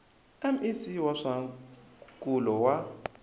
mec wa swa nkulo wa